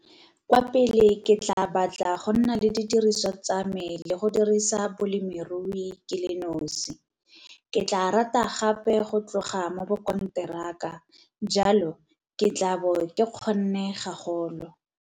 Kwa pele ke tlaa batla go nna le didiriswa tsa me le go dirisa bolemirui ke le nosi. Ke tlaa rata gape go tloga mo bokonteraka - jalo, ke tlaabo ke kgonne gagolo.